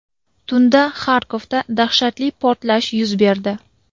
Tunda Xarkovda dahshatli portlash yuz berdi.